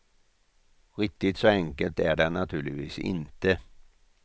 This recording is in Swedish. Riktigt så enkelt är det naturligtvis inte.